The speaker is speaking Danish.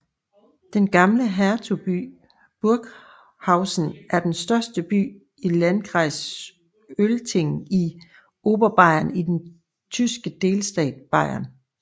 Den gamle Hertugby Burghausen er den største by i Landkreis Altötting i Oberbayern i den tyske delstat Bayern